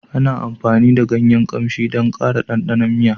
Ana amfani da ganyen ƙamshi don ƙara ɗanɗanon miya